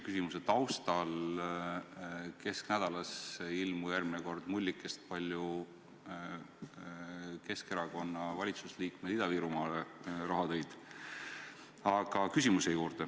Kas te nõustute Martin Helmega, et praegusel juhul pangad ideoloogilistel põhjustel ei taha seda projekti rahastada?